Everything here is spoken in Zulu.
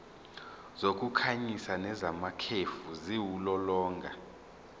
zokukhanyisa nezamakhefu ziwulolonga